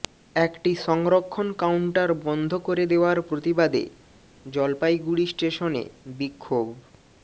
একটি সংরক্ষণ কাউন্টার বন্ধ করে দেওয়ার প্রতিবাদে জলপাইগুড়ি স্টেশনে বিক্ষোভ